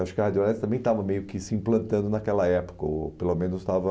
Acho que a Radial leste também estava meio que se implantando naquela época, ou pelo menos estava...